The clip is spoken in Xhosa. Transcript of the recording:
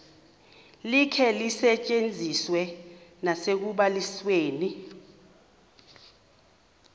likhe lisetyenziswe nasekubalisweni